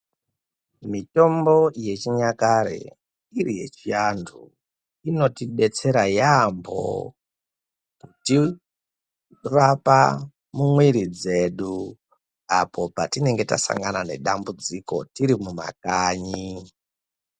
Mitombo yechinyakare iri yechiantu inotidetsera yaambo kutirapa mumwiiri dzedu apo patinenge tasangana nedambudziko tirimumakanyi.